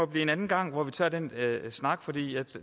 blive en anden gang hvor vi tager den snak for det